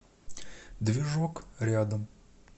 движок рядом